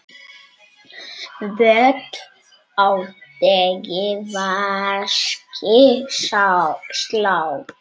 Völl á degi vaskir slá.